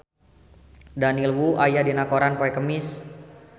Daniel Wu aya dina koran poe Kemis